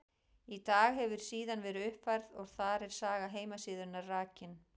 Í dag hefur síðan verið uppfærð og þar er saga heimasíðunnar rakin.